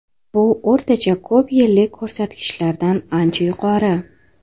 Bu o‘rtacha ko‘p yillik ko‘rsatkichlardan ancha yuqori.